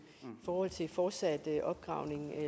i forhold til fortsat udvinding af